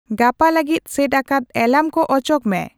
ᱜᱟᱯᱟ ᱞᱟᱹᱜᱤᱫ ᱥᱮᱴ ᱟᱠᱟᱫ ᱮᱞᱟᱨᱢ ᱠᱚ ᱚᱪᱚᱜ ᱢᱮ